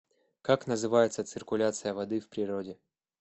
как называется циркуляция воды в природе